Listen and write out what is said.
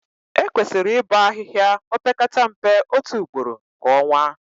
Ekwesịrị ịbọ ahịhịa opekata mpe otu ugboro kwa ọnwa